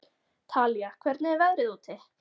Talía, hvernig er veðrið úti?